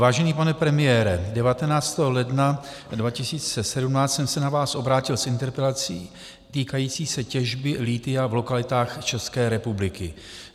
Vážený pane premiére, 19. ledna 2017 jsem se na vás obrátil s interpelací týkající se těžby lithia v lokalitách České republiky.